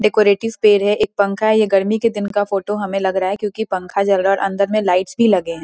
डेकोरेटिस पेड़ है एक पंखा ये गर्मी के दिन का फोटो हमें लग रहा है क्योंकि पंखा जल रहा और अंदर में लाइट्स भी लगे हैं।